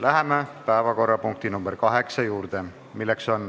Läheme päevakorrapunkti nr 8 juurde.